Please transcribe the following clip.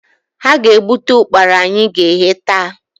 Ha ga-egbute ụkpara anyị ga-eghe, taa